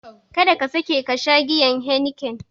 Kada ka sake kasha giyar Heniken!